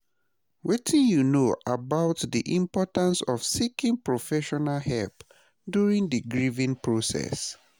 Wetin you know about di importance of seeking professional help during di grieving process?